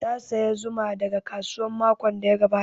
Ta saya zuma daga kasuwa makon da ya gabata